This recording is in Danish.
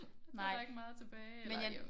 Det er der ikke mange tilbage